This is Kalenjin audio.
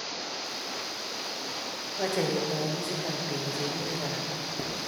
Mache ketoy ofisit ab kegase rirek ab piik